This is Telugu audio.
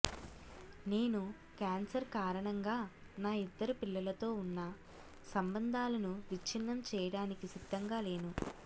నేను క్యాన్సర్ కారణంగా నా ఇద్దరు పిల్లలతో ఉన్న సంబంధాలను విచ్ఛిన్నం చేయడానికి సిద్ధంగా లేను